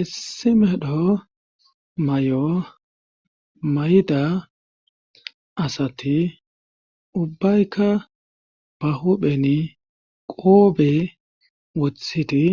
Issimedho may'o mayida asati ubbaykka ba hupheni qoobe wothiti